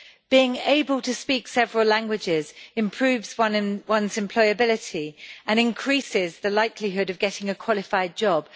Being able to speak several languages improves one's employability and increases the likelihood of getting a qualified job.